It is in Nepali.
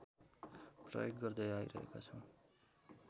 प्रयोग गर्दै आइरहेका छौँ